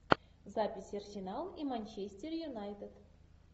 запись арсенал и манчестер юнайтед